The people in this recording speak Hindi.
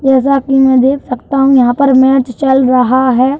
जैसा कि मैं देख सकता हूं यहाँ पर मैच चल रहा है।